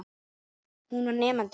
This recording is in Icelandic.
Hún var nemandi minn.